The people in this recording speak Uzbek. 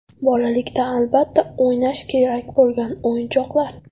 Bolalikda albatta o‘ynash kerak bo‘lgan o‘yinchoqlar.